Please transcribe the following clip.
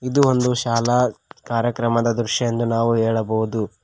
ಇದು ಒಂದು ಶಾಲಾ ಕಾರ್ಯಕರ್ಮದ ದೃಶ್ಯ ಎಂದು ನಾವು ಹೇಳಬಹುದು.